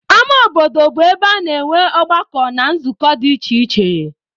Ama obodo bụ ebe a na-enwe ọgbakọ na nzukọ dị iche iche.